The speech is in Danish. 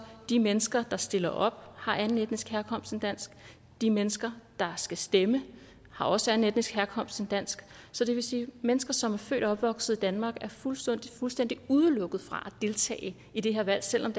og de mennesker der stiller op har anden etnisk herkomst end dansk de mennesker der skal stemme har også anden etnisk herkomst end dansk så det vil sige at mennesker som er født og opvokset i danmark er fuldstændig fuldstændig udelukket fra at deltage i det her valg selv om